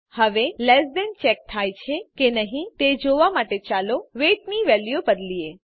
હવે less than check થાય છે કે નહી તે જોવા માટે ચાલો વેઇટ ની વેલ્યુ બદલીએ